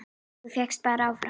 Þú fékkst bara áfall!